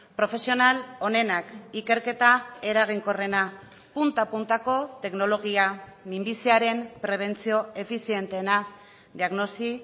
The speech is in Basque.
profesional onenak ikerketa eraginkorrena punta puntako teknologia minbiziaren prebentzio efizienteena diagnosi